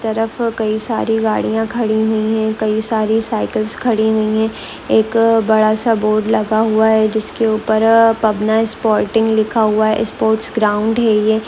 तरफ कई सारी गाड़ियां खड़ी हुई है कई सारी साइकिलस खड़ी हुई है एक बड़ा सा बोर्ड लगा हुआ है जिसके ऊपर-अ पाबना ईसस्पोर्टिंग लिखा हुआ है इससोर्टस ग्राउंड है यह--